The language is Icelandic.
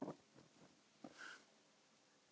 Vissirðu það?